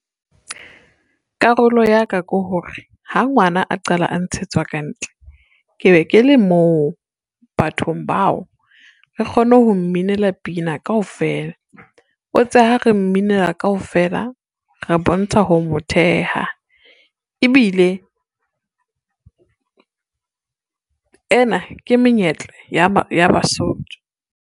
Karolo ya ka ke hore, ha ngwana a qala a ntshetswa ka ntle. Ke be ke le moo bathong bao re kgone ho mminela pina kaofela. O tse ha re mminela wa kaofela re bontsha ho mo theha ebile, ena ke menyetlo ya Basotho.